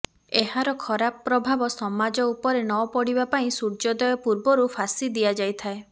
ଏହାର ଖରାପ ପ୍ରଭାବ ସମାଜ ଉପରେ ନ ପଡ଼ିବା ପାଇଁ ସୂର୍ଯ୍ୟୋଦୟ ପୂର୍ବରୁ ଫାଶି ଦିଆଯାଇଥାଏ